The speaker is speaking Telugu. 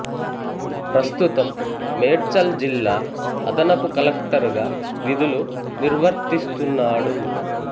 ప్రస్తుతం మేడ్చల్ జిల్లా అదనపు కలెక్టర్ గా విధులు నిర్వర్తిస్తున్నాడు